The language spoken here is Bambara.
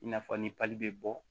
I n'a fɔ ni bɛ bɔ